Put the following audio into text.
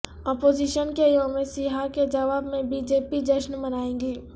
opposition کے یوم سیاہ کے جواب میں بی جے پی جشن منائیگی